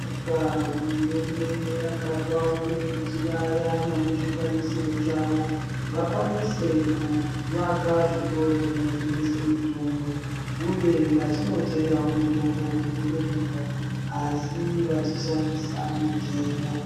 Tinobonga hurumende yakapawo, kuti kune vaya vanezvikwaniso zvavo, vakwanise kuvaka zvitoro zvinotengesa mitombo uye vachinotengawo mitombo kunze kwenyika, asi vachishandisa mitemo.